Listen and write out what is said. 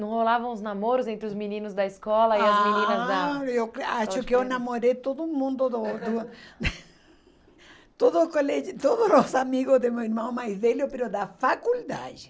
Não rolavam os namoros entre os meninos da escola, ah, e as meninas da... Eu acho que eu namorei todo mundo do do... Todo o colégio, todos os amigos de meu irmão mais velho, da faculdade.